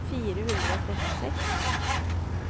fire hundre og trettiseks